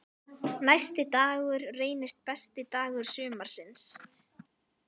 Næsti dagur reynist besti dagur sumarsins.